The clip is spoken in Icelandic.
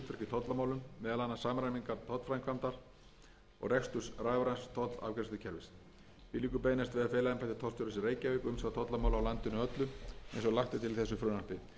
meðal annars samræmingu tollframkvæmdar og rekstur rafræns tollafgreiðslukerfis því liggur beinast við að fela embætti tollstjórans í reykjavík umsjá tollamála á landinu öllu eins og lagt er til í þessu frumvarpi jafnframt er lagt til að heiti embættis tollstjórans í reykjavík